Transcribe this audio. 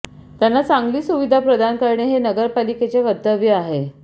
त्यांना चांगली सुविधा प्रदान करणे हे नगरपालिकेचे कर्तव्य आहे